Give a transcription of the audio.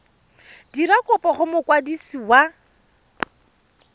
dira kopo go mokwadisi wa